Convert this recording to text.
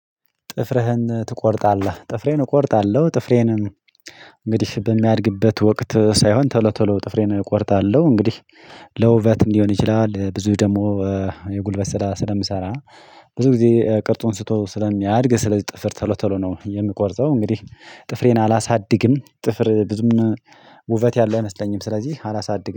ጥፍርህን ትቆርጣለህ? ጥፍሬን እቆርጣለሁ ጥፍሬንን እንግዲህ በሚያድግበት ወቅት ሳይሆን ቶሎ ቶሎ ጥፍሬን እቆርጣለሁ እንግዲህ ለውበትም ሊሆን ይችላል ብዙ ደግሞ የጉልበት ስራ ስለምሰራ ብዙ ጊዜ ቅርጹን ስተወው ስለሚያድግ ስለዚህ ጥፍር ቶሎ ቶሎ ነው የምቆርጠው እንግዲህ ጥፍሬን አላሳድግም ጥፍር ብዙም ውበት ያለው አይመስለኝም ስለዚህ አላሳድግም